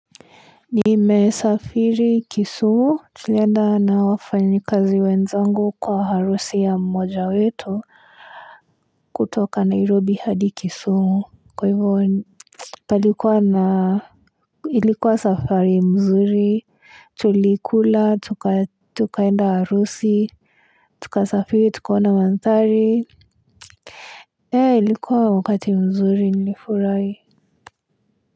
Nimesafiri kisumu tulienda na wafanyi kazi wenzangu kwa harusi ya mmoja wetu kutoka nairobi hadi kisumu kwa hivyo ni palikuwa na ilikuwa safari mzuri tulikula tuka tukaenda harusi tuka safiri tukaona manthari eeh ilikuwa wakati mzuri nilifurai.